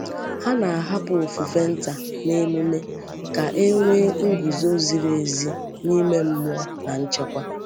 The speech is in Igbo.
Hà na-ahapụ ofufe nta n’emume ka e nwee nguzo ziri ezi n’ime mmụọ na nchekwà.